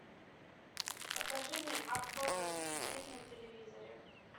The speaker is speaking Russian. покажи мне авто двадцать четыре на телевизоре